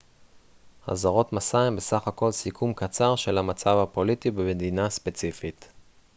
אזהרות מסע הן בסך הכל סיכום קצר של המצב הפוליטי במדינה ספציפית